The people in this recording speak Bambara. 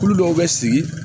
Kulu dɔw bɛ sigi